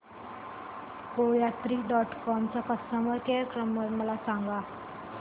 कोयात्री dot com चा customer care number मला सांगा